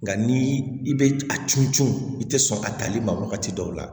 Nka ni i bɛ a cun cun i tɛ sɔn a tali ma wagati dɔw la